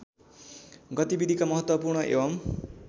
गतिविधिका महत्त्वपूर्ण एवं